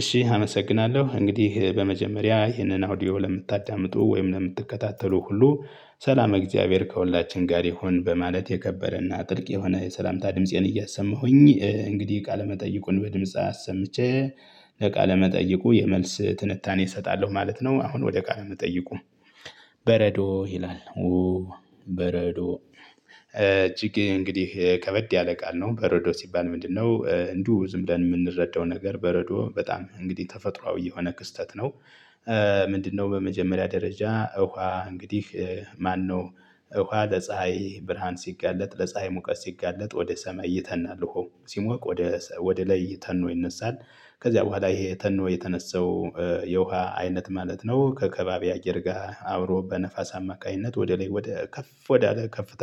እሺ አመሰግናለሁ እንግዲህ በመጀመሪያ ይህንን አውዲዮ ለምታዳምጡ ወይም ለምትከታተሉ ሁሉ ሰላመ እግዚአብሔር ከሁላችን ጋር ይሁን በማለት የከበረና ጥልቅ የሆነ የሰላምታ ድምፄን እያሰማሁኝ እንግዲህ ቃለመጠይቁን በድምጽ አሰምቼ ለቃለመጠይቁ የመልስ ትንታኔ እሰጣለሁ ማለት ነው። አሁን ወደ ቃለ መጠይቁ? በረዶ ይላል። በረዶ እጅግ እንግዲህ ከበድ ያለ ቃል ነው። በረዶ ሲባል ምንድነው? እንዲሁ ዝምብለን የምንረዳው ነገር በረዶ በጣም እንግዲህ ተፈጥሮአዊ የሆነ ክስተት ነው። ምንድነው? በመጀመሪያ ደረጃ እውሃ እንግዲህ ማነው? ውሃ ለፀሀይ ብርሃን ሲጋለጥ ለፀሀይ ሙቀት ሲጋለጥ ወደ ሰማይ ይተናል ውሃው ሲሞቅ ወደ ላይ ተኖ ይነሳል። ከዚያ በኋላ ይሄ ተኖ የተነሳው የውሃ አይነት ማለት ነው። ከከባቢ አየር ጋር አብሮ በነፋስ አማካኝነት ወደ ላይ ወደ ከፍ ወደ አለ ከፍታ።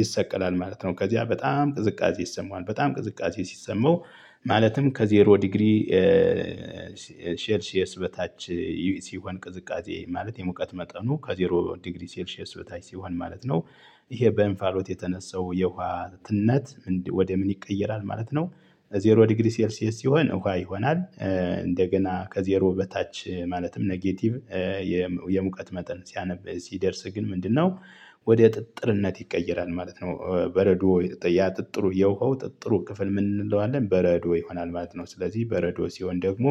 ይሰቀላል ማለት ነው ከዚያ በጣም ቅዝቃዜ ይሰማዋል በጣም ቅዝቃዜ ሲሰማው። ማለትም ከዜሮ ዲግሪ ሴልሽየስ በታች ሲሆን ቅዝቃዜ ማለት የሙቀት መጠኑ ከዜሮ ዲግሪ ስልሼስ በታች ሲሆን ማለት ነው። ይሄ በእንፋሎት የተነሳው የውሃ ትነት ወደ ምን ይቀየራል ማለት ነው። ዜሮ ዲግሪ ሴልሽየስ ሲሆን ውሃ ይሆናል። እንደገና ከዜሮ በታች ማለትም ኔጌቲቭ የሙቀት መጠን ሲያነብ ሲደርስ ግን ምንድነው? ወደ ጥጥርነት ይቀየራል ማለት ነው በረዶ ያጥጥሩ የውሃው ጥጥሩ ክፍል ምን እንለዋለን በረዶ ይሆናል ማለት ነው። ስለዚህ በረዶ ሲሆን ደግሞ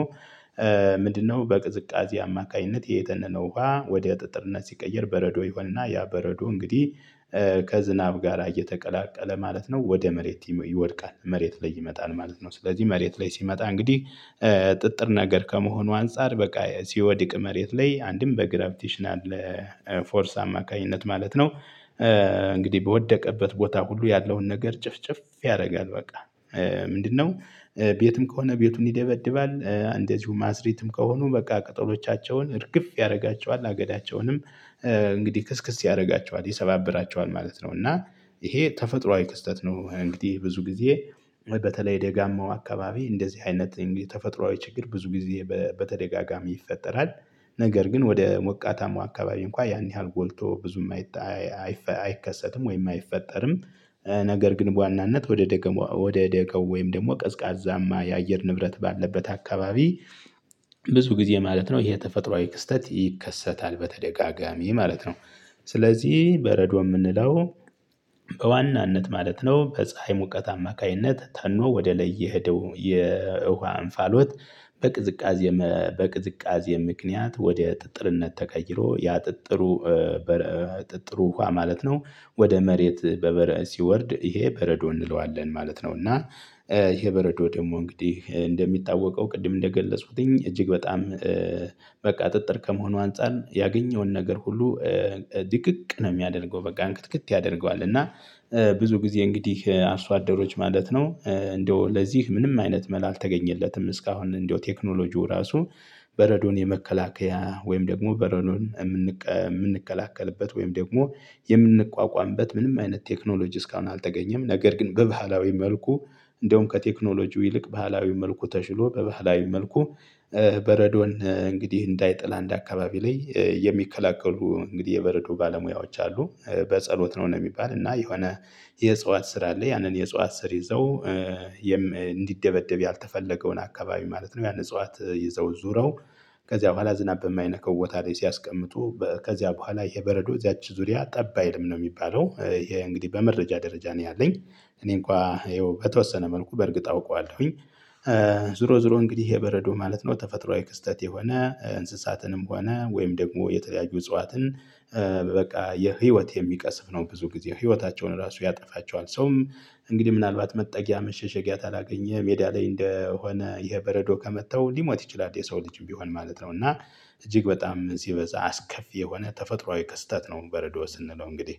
ምንድነው? በቅዝቃዜ አማካኝነት የተነነ ውሃ ወደ ጥጥርነት ሲቀየር በረዶ ይሆንና ያ በረዶ እንግዲህ ከዝናብ ጋራ እየተቀላቀለ ማለት ነው ወደ መሬት ይወድቃል መሬት ላይ ይመጣል ማለት ነው። ስለዚህ መሬት ላይ ሲመጣ እንግዲህ ጥጥር ነገር ከመሆኑ አንፃር በቃ ሲወድቅ መሬት ላይ አንድም በግራፊቲሽናል ፎርስ አማካኝነት ማለት ነው። እንግዲህ በወደቀበት ቦታ ሁሉ ያለውን ነገር ጭፍጭፍ ያደርጋል በቃ። ምንድነው? ቤትም ከሆነ ቤቱን ይደበድባል እንደዚሁ ማስሪትም ከሆኑ በቃ ቅጠሎቻቸውን እርግፍ ያደርጋቸዋል አገዳቸውንም እንግዲህ ክስክስ ያደርጋቸዋል ይሰባብራቸዋል ማለት ነው። እና ይሄ ተፈጥሮአዊ ክስተት ነው። እንግዲህ ብዙ ጊዜ በተለይ ደጋማው አካባቢ እንደዚህ አይነት የተፈጥሮአዊ ችግር ብዙ ጊዜ በተደጋጋሚ ይፈጠራል። ነገር ግን ወደ ሞቃታማ አካባቢ እንኳን ያን ያህል ጎልቶ ብዙ የማይታይ አይከሰትም ወይም አይፈጠርም። ነገር ግን በዋናነት ወደ ደገመው ወደ ደጋው ወይም ደግሞ ቀዝቃዛማ የአየር ንብረት ባለበት አካባቢ። ብዙ ጊዜ ማለት ነው ይሄ ተፈጥሮአዊ ክስተት ይከሰታል በተደጋጋሚ ማለት ነው። ስለዚህ በረዶ የምንለው በዋናነት ማለት ነው ከፀሀይ ሙቀት አማካኝነት ተኖ ወደ ላይ የሄደው የውሃ አንፋሎት። በቅዝቃዜ በቅዝቃዜ ምክንያት ወደ ጥጥርነት ተቀይሮ ያጥጥሩ ጥጥሩ ውሃ ማለት ነው። ወደ መሬት በበረእ ሲወርድ ይሄ በረዶ እንለዋለን ማለት ነው። እና ይሄ በረዶ ደግሞ እንግዲህ እንደሚታወቀው ቅድም እንደገለጹትኝ እጅግ በጣም በቃ ጥጥር ከመሆኑ አንፃር ያገኘውን ነገር ሁሉ ድቅቅ ነው። የሚያደርገው በቃ እንክትክት ያደርገዋል እና ብዙ ጊዜ እንግዲህ አርሶደሮች ማለት ነው እንደው ለዚህ ምንም አይነት መላ አልተገኘለትም። እስካሁን እንደው ቴክኖሎጂው ራሱ በረዶን የመከላከያ ወይም ደግሞ በረዶን የምንከላከልበት ወይም ደግሞ የምንቋቋምበት ምንም አይነት ቴክኖሎጂ እስካሁን አልተገኘም። ነገር ግን በባህላዊ መልኩ እንደውም ከቴክኖሎጂው ይልቅ ባህላዊ መልኩ ተሽሎ በባህላዊ መልኩ በረዶን እንግዲህ እንዳይጥል አንድ አካባቢ ላይ የሚከላከሉ እንግዲህ የበረዶ ባለሙያዎች አሉ። በጸሎት ነው የሚባል እና የሆነ የእጽዋት ስር አለ ያንን የእጽዋት ስር ይዘው። እንዲደበደብ ያልተፈለገውን አካባቢ ማለት ነው ያን እጽዋት ይዘው ዙረው ከዚያ በኋላ ዝናብ የማይነካው ቦታ ላይ ሲያስቀምጡ ከዚያ በኋላ የበረዶ እዚያች ዙሪያ ጠባይ አይልም ነው የሚባለው። ይሄ እንግዲህ በመረጃ ደረጃ ነው ያለኝ። እኔ እንኳን ይኸው በተወሰነ መልኩ በእርግጥ አውቀዋለሁኝ። ዙሮ ዙሮ እንግዲህ የበረዶ ማለት ነው ተፈጥሮአዊ ክስተት የሆነ እንስሳትንም ሆነ ወይም ደግሞ የተለያዩ እጽዋትን። በቃ የህይወት የሚቀስፍ ነው። ብዙ ጊዜ ህይወታቸውን ራሱ ያጠፋቸዋል ሰውም እንግዲህ ምናልባት መጠጊያ መሸሸጊያ ካላገኘ ሜዳ ላይ እንደሆነ ይሄ በረዶ ከመታው ሊሞት ይችላል። የሰው ልጅም ቢሆን ማለት ነው። እና እጅግ በጣም ሲበዛ አስከፊ የሆነ ተፈጥሮአዊ ከስተት ነው። በረዶ ስንለው እንግዲህ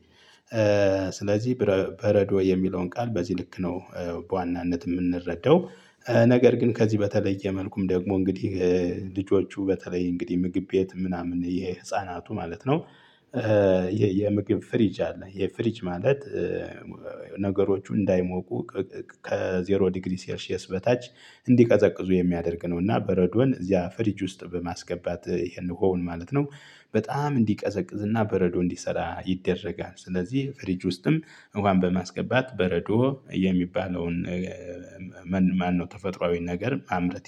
ስለዚህ በረዶ የሚለውን ቃል በዚህ ልክ ነው። በዋናነት የምንረዳው ነገር ግን ከዚህ በተለየ መልኩም ደግሞ እንግዲህ ልጆቹ በተለይ እንግዲህ ምግብ ቤት ምናምን የህፃናቱ ማለት ነው። የምግብ ፍሪጅ አለ የፍሪጅ ማለት ነገሮቹ እንዳይሞቁ ከዜሮ ዲግሪ ሴርሺየስ በታች እንዲቀዘቅዙ የሚያደርግ ነው። እና በረዶን እዚያ ፍሪጅ ውስጥ በማስገባት ይሄን ውሃውን ማለት ነው። በጣም እንዲቀዘቅዝ እና በረዶ እንዲሰራ ይደረጋል። ስለዚህ ፍሪጅ ውስጥም ውሃን በማስገባት በረዶ የሚባለውን ማነው ተፈጥሯዊን ነገር ማምረት